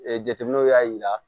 Ee jateminɛw y'a jira